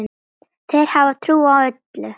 Þeir hafa trú á öllu.